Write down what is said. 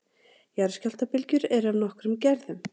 Jarðskjálftabylgjur eru af nokkrum gerðum.